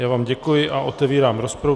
Já vám děkuji a otevírám rozpravu.